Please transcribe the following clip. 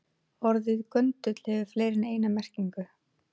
Orðið göndull hefur fleiri en eina merkingu.